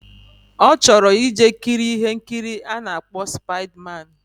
Ochoro ije kiri ihe nkiri ana akpo spider man